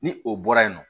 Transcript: Ni o bɔra yen nɔ